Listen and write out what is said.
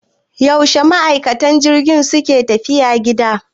Yaushe ma'aikan jirgi suke tafiya gida?